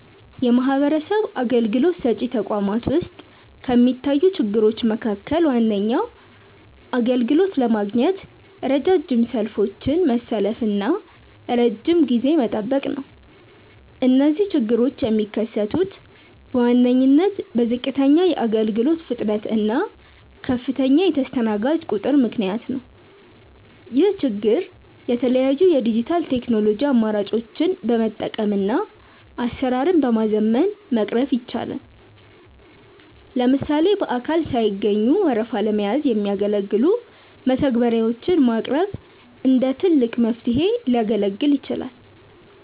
የማህበረሰብ አገልግሎት ሰጪ ተቋማት ውስጥ ከሚታዩ ችግሮች መካከል ዋነኛው አገልግሎት ለማግኘት ረጃጅም ሰልፎችን መሰለፍና ረጅም ጊዜ መጠበቅ ነው። እነዚህ ችግሮች የሚከሰቱት በዋነኝነት በዝቅተኛ የአገልግሎት ፍጥነት እና ከፍተኛ የተስተናጋጅ ቁጥር ምክንያት ነው። ይህን ችግር የተለያዩ የዲጂታል ቴክኖሎጂ አማራጮችን በመጠቀምና አሰራርን በማዘመን መቅረፍ ይቻላል። ለምሳሌ በአካል ሳይገኙ ወረፋ ለመያዝ የሚያገለግሉ መተግበሪያዎች ማቅረብ እንደ ትልቅ መፍትሄ ሊያገለግል ይችላል።